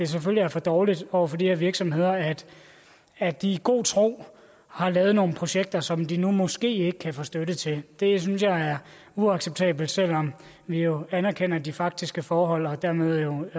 selvfølgelig er for dårligt over for de her virksomheder at at de i god tro har lavet nogle projekter som de nu måske ikke kan få støtte til det synes jeg er uacceptabelt selv om vi jo anerkender de faktiske forhold og dermed